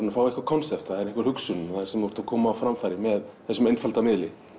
fá eitthvað konsept það er einhver hugsun sem þú ert að koma á framfæri með þessum einfalda miðli